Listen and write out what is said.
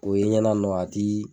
O yenɲɛna nɔ a ti